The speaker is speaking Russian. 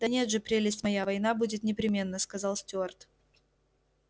да нет же прелесть моя война будет непременно сказал стюарт